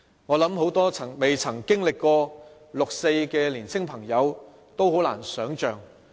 我想很多沒有經歷過六四的年青朋友是很難想象的。